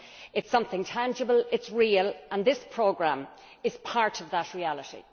It is something tangible and real, and this programme is part of that reality.